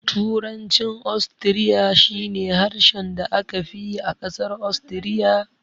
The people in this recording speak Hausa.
Turancin Ostiriya shi ne harshen da aka fi yi a ƙasar Ostiriya.